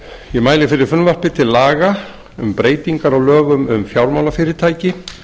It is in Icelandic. ég mæli fyrir frumvarpi til laga um breytingar á lögum um fjármálafyrirtæki